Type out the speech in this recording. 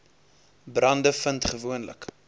brande vind gewoonlik